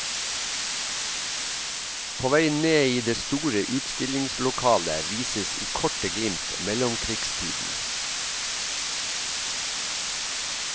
På vei ned i det store utstillingslokalet vises i korte glimt mellomkrigstiden.